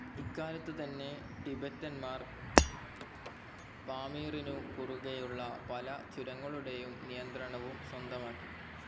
ഇക്കാലത്ത് തന്നെ ടിബെറ്റന്മാർ പാമീറിനു കുറുകെയുള്ള പല ചുരങ്ങളുടേയും നിയന്ത്രണവും സ്വന്തമാക്കി.